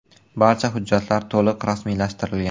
Barcha hujjatlar to‘liq rasmiylashtirilgan.